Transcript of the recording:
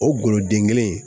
O goloden kelen in